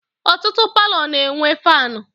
Ọtụtụ palọ na-enwe faanụ.